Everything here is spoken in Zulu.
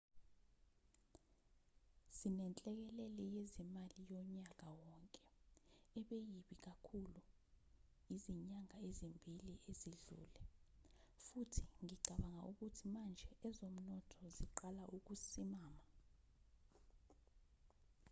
sinenhlekelele yezimali yonyaka wonke ebe yibi kakhulu ezinyangeni ezimbili ezidlule futhi ngicabanga ukuthi manje ezomnotho ziqala ukusimama